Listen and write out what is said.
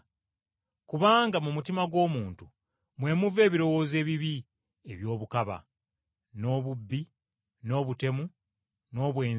Kubanga mu mutima gw’omuntu mwe muva ebirowoozo ebibi eby’obukaba, n’obubbi, n’obutemu, n’obwenzi,